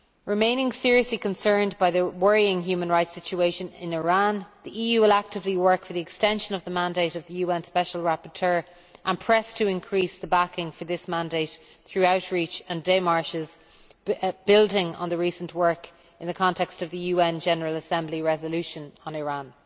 Remaining seriously concerned by the worrying human rights situation in Iran, the EU will actively work for the extension of the mandate of the UN special rapporteur, and press to increase the backing for this mandate through outreach and demarches, building on the recent work in the context of the UN General Assembly resolution on Iran.